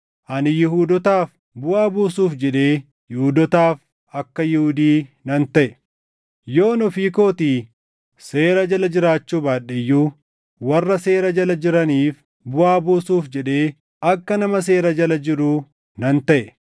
Ani Yihuudootaaf buʼaa buusuuf jedhee Yihuudootaaf akka Yihuudii nan taʼe. Yoon ofii kootii seera jala jiraachuu baadhe iyyuu, warra seera jala jiraniif buʼaa buusuuf jedhee akka nama seera jala jiruu nan taʼe.